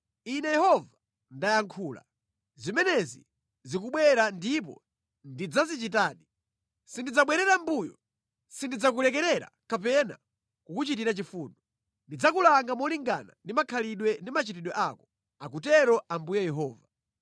“ ‘Ine Yehova ndayankhula. Zimenezi zikubwera ndipo ndidzazichitadi. Sindidzabwerera mʼmbuyo. Sindidzakulekerera kapena kukuchitira chifundo. Ndidzakulanga molingana ndi makhalidwe ndi machitidwe ako, akutero Ambuye Yehova.’ ”